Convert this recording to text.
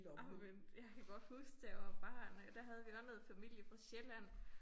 Ej men jeg kan godt huske da jeg var barn der havde vi også noget familie fra Sjælland